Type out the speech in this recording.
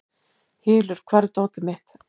Hylur, hvar er dótið mitt?